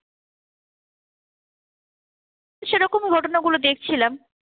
সেরকম ঘটনাগুলো দেখছিলাম।